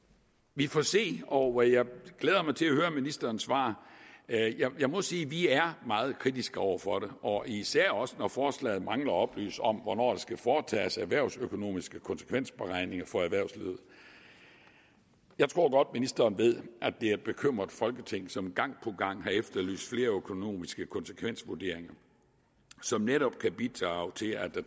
vi får se og jeg glæder mig til at høre ministerens svar jeg må sige at vi er meget kritiske over for forslaget og især også når forslaget mangler at oplyse om hvornår der skal foretages erhvervsøkonomiske konsekvensberegninger for erhvervslivet jeg tror godt ministeren ved at det er et bekymret folketing som gang på gang har efterlyst flere økonomiske konsekvensvurderinger som netop kan bidrage til at der